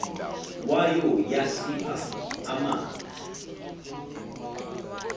wayo yasipha amanzi